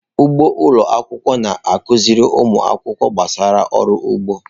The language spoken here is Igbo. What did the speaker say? Ugbo ụlọ akwụkwọ na-akụziri ụmụ akwụkwọ gbasara ọrụ ugbo.